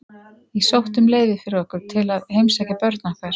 Ég sótti um leyfi fyrir okkur til að heimsækja börn okkar.